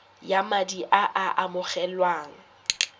ya madi a a amogelwang